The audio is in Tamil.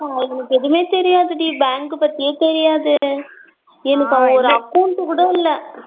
இருக்கா எனக்கு எதுமே தெரியாது டி bank பத்தியே தெரியாது ஒரு account கூட இல்ல